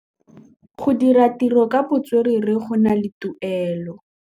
Go dira ditirô ka botswerere go na le tuelô.